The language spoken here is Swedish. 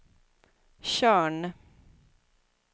Tjörn